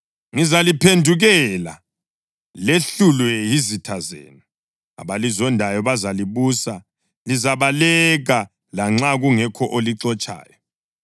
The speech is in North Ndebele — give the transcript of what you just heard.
Ngizaliphendukela lehlulwe yizitha zenu, abalizondayo bazalibusa; lizabaleka lanxa kungekho olixotshayo.